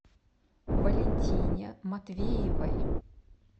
валентине матвеевой